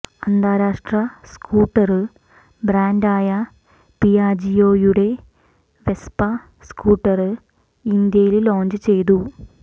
അന്താരാഷ്ട്ര സ്കൂട്ടര് ബ്രാന്ഡായ പിയാജിയോയുടെ വെസ്പ സ്കൂട്ടര് ഇന്ത്യയില് ലോഞ്ച് ചെയ്തു